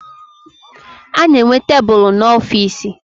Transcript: A na-enwe tebulu n'ọfiisi